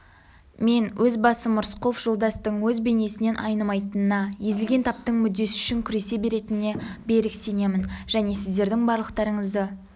мен өз басым рысқұлов жолдастың өз бейнесінен айнымайтынына езілген таптың мүддесі үшін күресе беретініне берік сенемін және сіздердің барлықтарыңызды